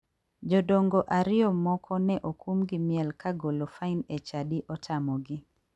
Jodongo ariyo moko ne okum gi miel ka golo fain e chadi otamogi.